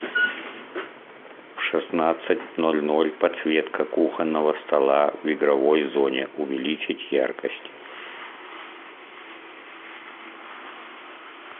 в шестнадцать ноль ноль подсветка кухонного стола в игровой зоне увеличить яркость